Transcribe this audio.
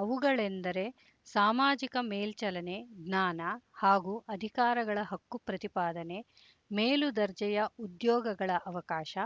ಅವುಗಳೆಂದರೆ ಸಾಮಾಜಿಕ ಮೇಲ್ಚಲನೆ ಜ್ಞಾನ ಹಾಗೂ ಅಧಿಕಾರಗಳ ಹಕ್ಕು ಪ್ರತಿಪಾದನೆ ಮೇಲುದರ್ಜೆಯ ಉದ್ಯೋಗಗಳ ಅವಕಾಶ